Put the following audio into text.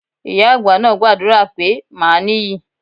Ìyá àgbà náà gbàdúrà pé màá níyì.